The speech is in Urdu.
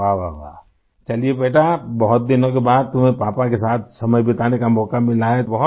واہ ، واہ ، واہ! چلیئے بیٹا ، بہت دنوں کے بعد تمہیں پاپا کے ساتھ وقت گزارنے کا موقع ملا ہے